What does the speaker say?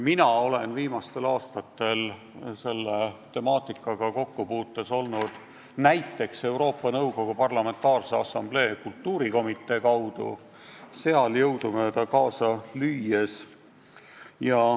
Mina olen viimastel aastatel selle temaatikaga kokkupuutes olnud Euroopa Nõukogu Parlamentaarse Assamblee kultuurikomitee kaudu, seal jõudumööda kaasa lüües.